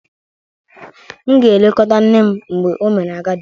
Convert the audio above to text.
M ga-elekọta nne m mgbe o mere agadi